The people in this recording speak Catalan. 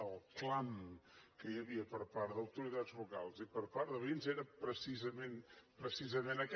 el clam que hi havia per part d’autoritats locals i per part de veïns era precisament aquest